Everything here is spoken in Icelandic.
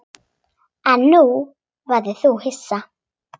En nú verður þú hissa!